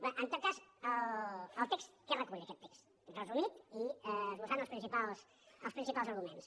bé en tot cas el text què recull aquest text resumit i esbossant ne els principals arguments